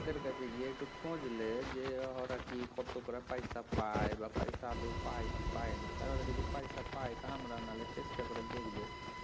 ওদের কাছে গিয়ে একটু খোঁজ লে যে ওরা কি কত করে পয়সা পায় বা পয়সা আদৌ পায় কি পায়না তা ওরা যদি পয়সা পায় তা আমরাও নাহয় চেষ্টা করে দেখব